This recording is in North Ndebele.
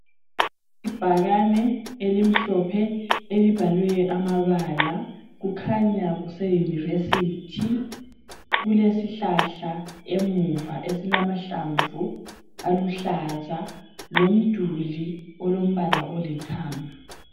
Ibhakane elimhlophe elibhalwe amabala. Kukhanya kuse yunivesithi. Kulesihlahla emuva esilamahlamvu aluhlaza lomduli olombala olithanga.